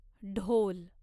ढोल